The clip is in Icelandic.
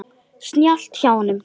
Snjallt hjá honum.